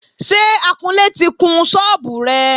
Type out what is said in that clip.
Ṣé akunlé ti kun sọ́ọ́bù rẹ?